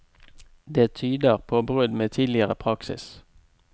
Det tyder på brudd med tidligere praksis.